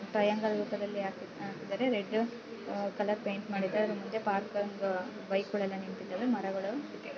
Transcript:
triangle ರೂಪದಲ್ಲಿ ಹಾಕಿದಾರೆ red colour paint ಮಾಡಿದ್ದಾರೆ ಅದರ್ ಮುಂದೆ ಪಾರ್ಕ್ ಒಂದು ಬೈಕ್ ಗಳೆಲ್ಲ ನೀತಿದ್ದಾವೆ ಮರಗಳು--